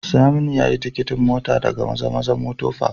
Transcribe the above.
Saminu yayi tikitin mota daga mazamaza motor Park